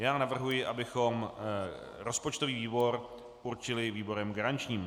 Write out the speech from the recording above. Já navrhuji, abychom rozpočtový výbor určili výborem garančním.